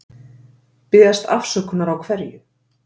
Biðjast afsökunar á hverju?